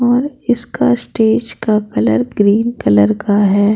और इसका स्टेज का कलर ग्रीन कलर का है ।